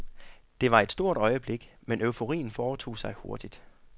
Det var et stort øjeblik, men euforien fortog sig hurtigt.